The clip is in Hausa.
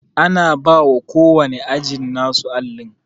Ana bawa ko wanne ajin nasu allin